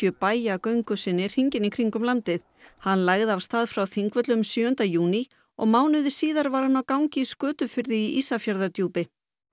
bæja göngu sinni hringinn í kringum landið hann lagði af stað frá Þingvöllum sjöunda júní og mánuði síðar var hann á gangi í Skötufirði í Ísafjarðardjúpi